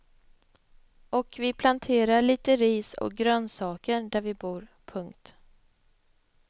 Och vi planterar lite ris och grönsaker där vi bor. punkt